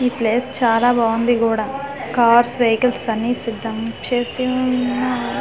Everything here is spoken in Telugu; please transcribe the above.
ఈ ప్లేస్ చాలా బాగుంది కూడా కార్స్ వెహికల్స్ అన్నీ సిదం చేసి-సి ఉన్నారు .